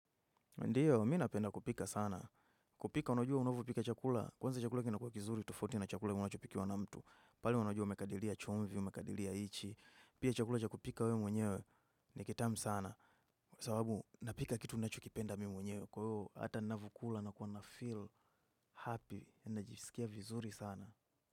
Ndiyo, mi napenda kupika sana. Kupika, unajua unavyopika chakula. Kwanza chakula kinakuwa kizuri, tofauti na chakula unachopikiwa na mtu. Pale unajua umekadilia choumvi, umekadilia hichi. Pia chakula cha kupika wewe mwenyewe, ni kitamu sana. Sababu, napika kitu unachokipenda mimi mwenyewe. Kwa hiyo, hata navyokula nakuwa nafeel happy. Najisikia vizuri sana.